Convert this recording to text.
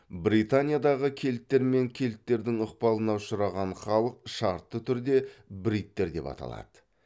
британиядағы кельттер мен кельттердің ықпалына ұшыраған халық шартты түрде бриттер деп аталады